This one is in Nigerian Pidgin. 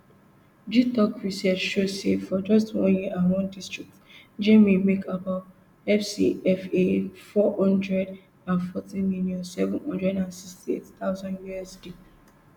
gitoc research show say for just one year and one district jnim make about fcfa four hundred and forty million seven hundred and sixty-eight thousand usd